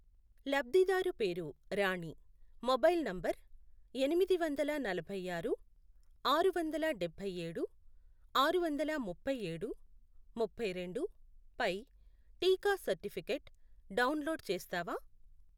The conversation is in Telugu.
లబ్ధిదారు పేరు రాణి, మొబైల్ నంబర్ ఎనిమిదివందల నలభై ఆరు, ఆరు వందల డబ్బై ఏడు, ఆరు వందల ముప్ఫైఏడు, ముప్పైరెండు, పై టీకా సర్టిఫికేట్ డౌన్లోడ్ చేస్తావా?